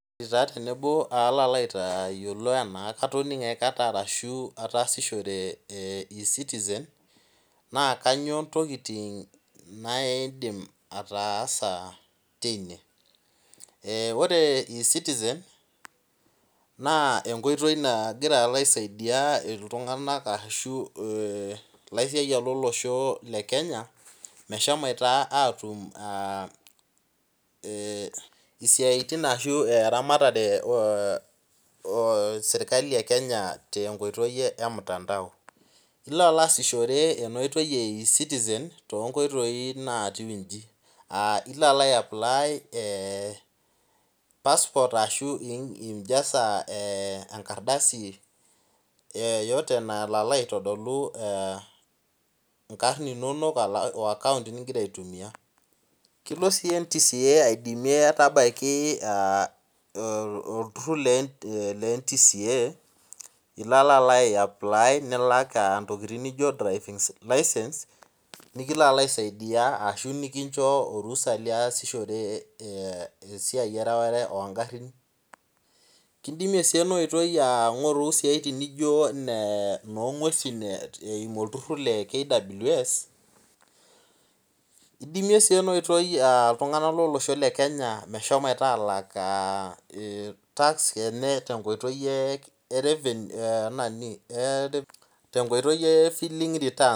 Taa tenebo alo aitayiolo enaa katoning'o aikata ashu ataasishore ecitizen naa kainyoo intokiting naidim ataasa teine Eeh ore ecitizen naa enkoitoi naloito alo aisaidia iltung'anak ashu ilaisiayiak lolosho le Kenya meshomoita aatum aa isiaritin ashu eramatare eserkali e Kenya tenkoitoi emutandao Ilo alo aasishore ena oitoi e ecitizen tenkoitoi natiu inji; ilo aisapply eeh passport ashu injaza engardasi yoyote nalo alo aitodolu inkarn inonok woaccount nigira aitumia Kelo sii NTCA aidimie tabaiki olturhur le NTCA ilo alo aiapply nilak intokiting nijo drivinglicense nikiloalo aisaidia ashu nikinjo orusa liasishore esiai ereware oongharhin Kindimie sii ena oitoi ngoru isiaitin nijo inongwesi eimu olturhur le kws Idimie sii ena oitoi iltung'anak lolosho le Kenya moshomoito alak CNA tenkoitoi e filling returns